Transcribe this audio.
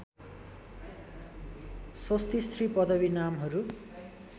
स्वस्तिश्री पदवी नामहरू